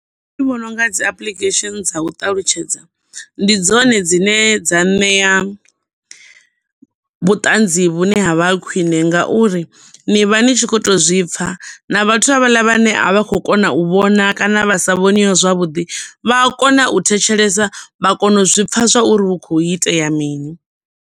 Nṋe ndi vhona unga dzi apuḽikhesheni dza u ṱalutshedza, ndi dzone dzine dza ṋea vhuṱanzi vhune havha khwiṋe ngauri ni vha ni tshi kho to zwipfa na vhathu havhala vhane a vha khou kona u vhona kana vha sa vhoniwi zwavhuḓi vha a kona u thetshelesa vha kona u zwipfa zwauri hu kho itea mini.